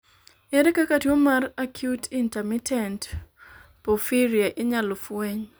ere kaka tuo mar acute intermittent porphyria inyalo fweny?